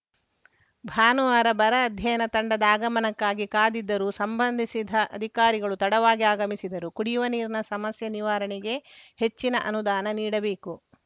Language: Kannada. ಭಾನುವಾರ ಬರ ಅಧ್ಯಯನ ತಂಡದ ಆಗಮನಕ್ಕಾಗಿ ಕಾದಿದ್ದರೂ ಸಂಬಂಧಿಸಿದ ಅಧಿಕಾರಿಗಳು ತಡವಾಗಿ ಅಗಮಿಸಿದರು ಕುಡಿಯುವ ನೀರಿನ ಸಮಸ್ಯೆ ನಿವಾರಣೆಗೆ ಹೆಚ್ಚಿನ ಅನುದಾನ ನೀಡಬೇಕು